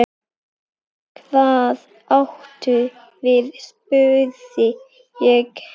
Hvað áttu við spurði ég.